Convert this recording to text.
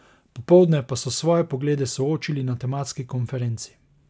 Popoldne pa so svoje poglede soočili na tematski konferenci.